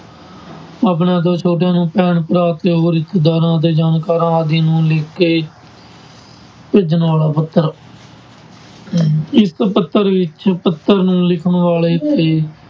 ਆਪਣੇ ਤੋਂ ਛੋਟਿਆਂ ਨੂੰ ਭੈਣ-ਭਰਾ, ਪਿਓ, ਰਿਸ਼ਤੇਦਾਰਾਂ ਅਤੇ ਜਾਣਕਾਰਾਂ ਆਦਿ ਨੂੰ ਲਿਖਕੇ ਭੇਜਣ ਵਾਲਾ ਪੱਤਰ ਇਸ ਪੱਤਰ ਵਿੱਚ ਪੱਤਰ ਨੂੰ ਲਿਖਣ ਵਾਲੇ ਤੇ